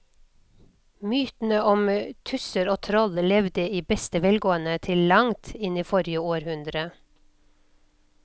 Mytene om tusser og troll levde i beste velgående til langt inn i forrige århundre.